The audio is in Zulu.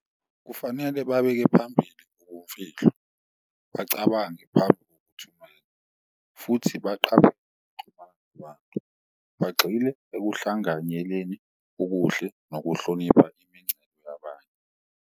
Kufanele babeke phambili ubumfihlo bacabange futhi bagxile okuhlanganyeleni okuhle nokuhlonipha yabanye.